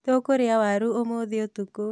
Tũkũrĩa waru ũmũthĩ ũtukũ